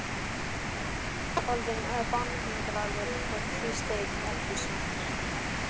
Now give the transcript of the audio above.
Stjáni var orðinn banhungraður og tvísteig í eldhúsinu.